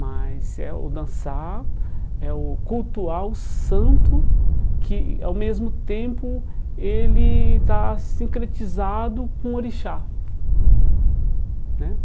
Mas é o dançar, é o cultuar o santo, que ao mesmo tempo ele está sincretizado com o orixá né.